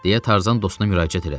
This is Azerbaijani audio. deyə Tarzan dostuna müraciət elədi.